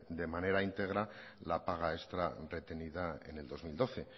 de manera extra la paga extra retenida en el dos mil doce